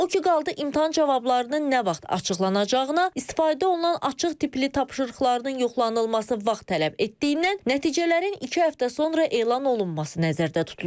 O ki qaldı imtahan cavablarının nə vaxt açıqlanacağına, istifadə olunan açıq tipli tapşırıqlarının yoxlanılması vaxt tələb etdiyindən nəticələrin iki həftə sonra elan olunması nəzərdə tutulur.